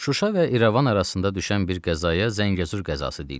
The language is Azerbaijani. Şuşa və İrəvan arasında düşən bir qəzaya Zəngəzur qəzası deyirlər.